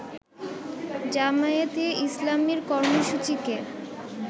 জামায়াতে ইসলামীর কর্মসূচিকে